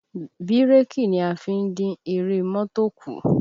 Bírèkì ni a fi ń dín eré mọ́tò kù